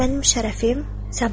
Bəs mənim şərəfim?